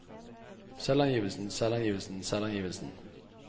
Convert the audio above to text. selvangivelsen selvangivelsen selvangivelsen